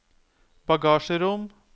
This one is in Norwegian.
bagasjerom